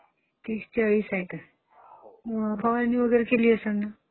तीस चाळीस आहे का? फवारणी वगैरे केली असेल ना !